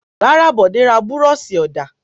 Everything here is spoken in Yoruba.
Rárá, Bọ̀dé ra búrọ́ṣì-ọ̀dà.